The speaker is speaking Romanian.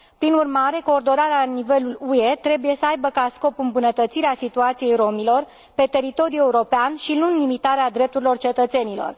Prin urmare, coordonarea la nivelul UE trebuie să aibă ca scop îmbunătățirea situației romilor pe teritoriul european și nu limitarea drepturilor cetățenilor.